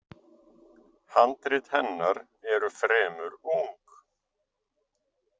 Handrit hennar eru fremur ung.